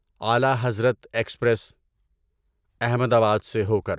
اعلیٰ Hazrat express Ahmedabad سے ہو کر